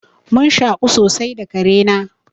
Mun shaƙu sosai da kare na.